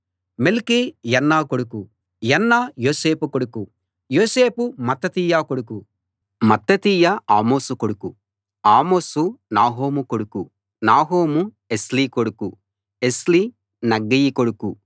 మెల్కీ యన్న కొడుకు యన్న యోసేపు కొడుకు యోసేపు మత్తతీయ కొడుకు మత్తతీయ ఆమోసు కొడుకు ఆమోసు నాహోము కొడుకు నాహోము ఎస్లి కొడుకు ఎస్లి నగ్గయి కొడుకు